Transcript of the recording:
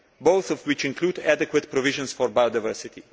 both of which include adequate provisions for biodiversity.